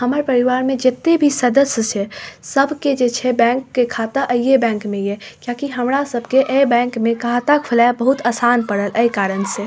हमर परिवार में जत्ते भी सदस्य छै सबके जे छै बैंक के खाता आहीए बैंक में ये किया की हमरा सब के ए बैंक में खाता खोलाएब बहुत आसान पड़ल ए कारण से --